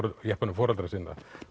jeppanum foreldra sinna